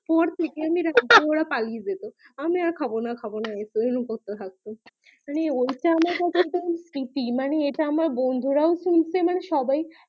আমি হা হা ওরা পালিয়ে যেত আমি আর খাবোনা খাবোনা এই বলে করতে থাকতো মানে ওইটা আমার প্রীতি মানে আমার বন্ধুরাও শুনছে মানে সবাই